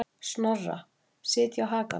Snorra sitja á hakanum.